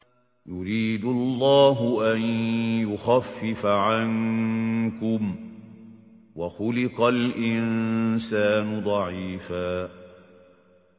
يُرِيدُ اللَّهُ أَن يُخَفِّفَ عَنكُمْ ۚ وَخُلِقَ الْإِنسَانُ ضَعِيفًا